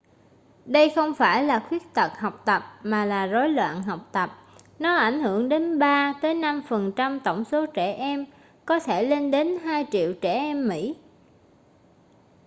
đây không phải là khuyết tật học tập mà là rối loạn học tập nó ảnh hưởng đến 3 tới 5% tổng số trẻ em có thể lên đến 2 triệu trẻ em mỹ